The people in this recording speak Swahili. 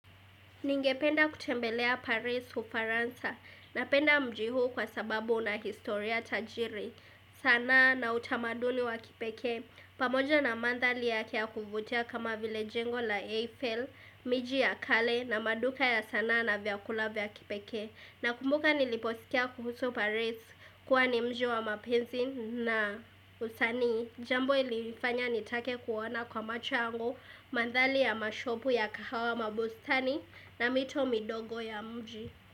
Ningependa kutembelea Paris u Faransa na penda mji huo kwa sababu una historia tajiri. Sanaa na utamaduni wa kipekee. Pamoja na mandhali yake ya kuvutia kama vile jengo la Eiffel, miji ya kale na maduka ya sanaa na vyakula vya kipekee. Na kumbuka niliposkia kuhusu paris kuwa nimji wa mapenzi na usanii Jambo ilifanya nitake kuona kwa macho yangu Mandhali ya mashopu ya kahawa mabustani na mito midogo ya mji.